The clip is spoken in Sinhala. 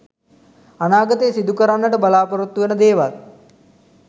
අනාගතයේ සිදු කරන්නට බලාපොරොත්තු වන දේවල්